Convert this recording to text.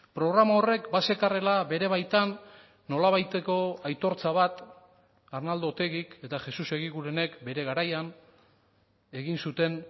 programa horrek bazekarrela bere baitan nolabaiteko aitortza bat arnaldo otegik eta jesus egigurenek bere garaian egin zuten